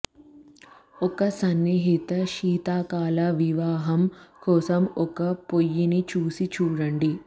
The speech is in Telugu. ఒక సన్నిహిత శీతాకాల వివాహం కోసం ఒక పొయ్యిని చూసి చూడండి